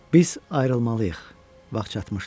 Biz ayrılmalıyıq, vaxt çatmışdı.